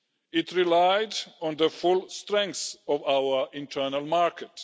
It relied on the full strength of our internal market.